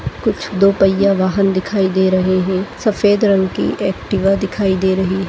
कुछ दो पहिया वाहन दिखाई दे रहे हैं सफ़ेद रंग की एक्टीबा दिखाई दे रही है।